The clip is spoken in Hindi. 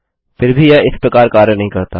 फिर भी यह इस प्रकार कार्य नहीं करता